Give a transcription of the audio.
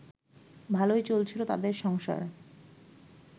ভালোই চলছিল তাদের সংসার